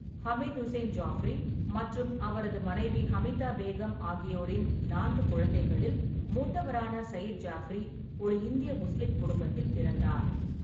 ஹமீது உசேன் ஜாஃப்ரி மற்றும் அவரது மனைவி ஹமிதா பேகம் ஆகியோரின் நான்கு குழந்தைகளில் மூத்தவரான சயீத் ஜாஃப்ரி ஒரு இந்திய முஸ்லீம் குடும்பத்தில் பிறந்தார்.